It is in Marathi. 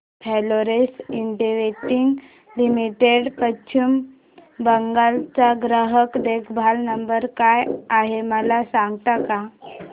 Florence Investec limited Paschim Bengal चा ग्राहक देखभाल नंबर काय आहे मला सांगता का